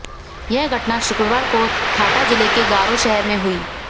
यह घटना शुक्रवार को थाटा जिले के गारो शहर में हुई